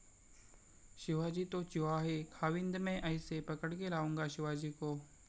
शिवाजी तो चुहा है, खाविंद मैं ऐसे पकडके लाऊंगा शिवाजी को..!